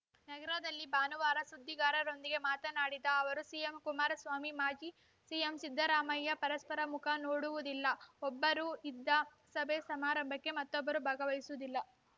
ನಗರದಲ್ಲಿ ಭಾನುವಾರ ಸುದ್ದಿಗಾರರೊಂದಿಗೆ ಮಾತನಾಡಿದ ಅವರು ಸಿಎಂ ಕುಮಾರಸ್ವಾಮಿ ಮಾಜಿ ಸಿಎಂ ಸಿದ್ದರಾಮಯ್ಯ ಪರಸ್ಪರ ಮುಖ ನೋಡುವುದಿಲ್ಲ ಒಬ್ಬರು ಇದ್ದ ಸಭೆ ಸಮಾರಂಭಕ್ಕೆ ಮತ್ತೊಬ್ಬರು ಭಾಗವಹಿಸುವುದಿಲ್ಲ